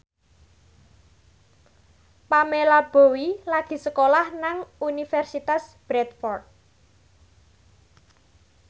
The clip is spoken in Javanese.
Pamela Bowie lagi sekolah nang Universitas Bradford